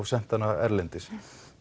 sendar erlendis